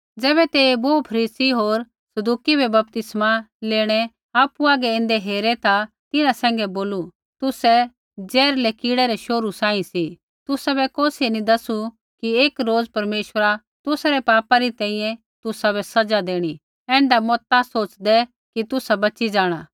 ज़ैबै तेइयै बोहू फरीसी होर सदूकी बै बपतिस्मा लेणै आपु हागै ऐन्दै हेरे ता तिन्हां सैंघै बोलू तुसै ज़हरीलै कीड़ै रै शोहरु सांही सी तुसाबै कौसियै नी दसु कि एक रोज़ परमेश्वरा तुसा रै पापा री तैंईंयैं तुसाबै सज़ा देणी ऐण्ढा मता सोच़दै कि तुसा बची जाँणा